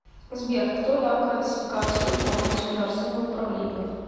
сбер кто дал классификацию форм государственного управления